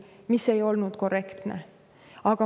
Aga see ei olnud korrektne.